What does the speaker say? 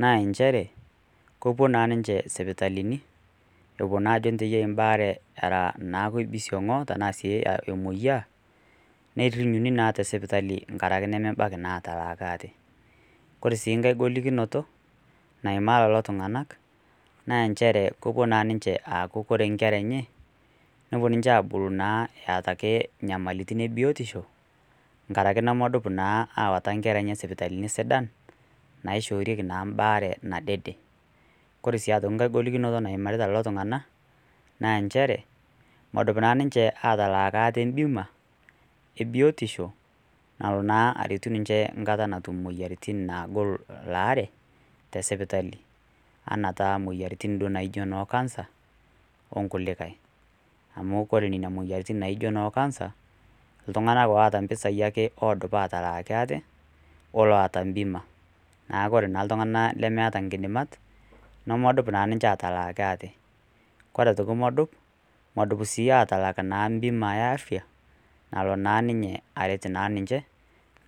naa nchere, kepuo naa ninche isipitalini epuo naa ajo njo iyie embaare era naake eibisiong' anaa sii emoyiaa, nerinyuni naa te sipitali nkaraki nemebaiki naa ataalaki aate. Kore sii nkai golikinoto, naimaa lelo tung'anak naa nchere kepuo naa ninche kore inkera enye nepuo ninye aabulu naa eata ake nyamalitin e biotisho, nkaraki enaa nemedup awaita inkera enye sipitalini sidan, naishooriki naa mbaare nadede. Kore sii aitokii nkai golikinoto naimita lelo tung'ana, naa enchere medup naa ninche atalaaki aate embima e biotisho nalo naa arettu ninche enkata naagol elaare te sipitali, anaa taa imoyiaritin taa naijo noo kansa o nkulikai. Amu kore nena moyiaritin naijo noo kansa, iltungana oata impisai ake oidim atalaakiti aate, o laata embima, neaku ore naa iltung'ana lemeata inkidimat, nemedup naa ninche atalaaki aate. Kore aitoki medup, medup sii atalaakiti imbimai e afya nalo naa ninye aret ninche,